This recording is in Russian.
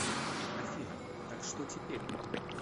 афина так что теперь